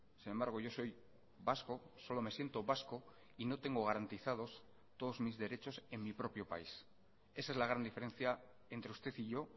sin embargo yo soy vasco solo me siento vasco y no tengo garantizados todos mis derechos en mi propio país esa es la gran diferencia entre usted y yo